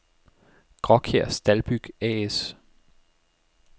Gråkjær Staldbyg A/S